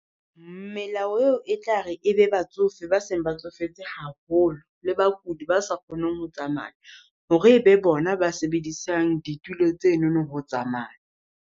Melao eo e tlare e be batsofe ba seng ba tsofetse haholo, le bakudi ba sa kgoneng ho tsamaya. Hore ebe bona ba sebedisang ditulo tsenono ho tsamaya.